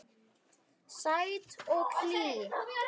Sæt og hlý.